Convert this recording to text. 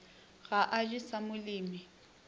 ga a je sa molemi